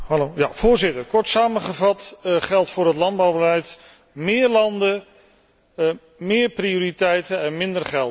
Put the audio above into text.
Voorzitter, kort samengevat geldt voor het landbouwbeleid meer landen, meer prioriteiten en minder geld.